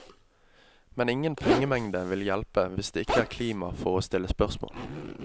Men ingen pengemengde vil hjelpe hvis det ikke er klima for å stille spørsmål.